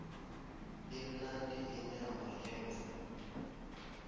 imnandi inyama yemvu